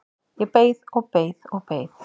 Ég beið og beið og beið!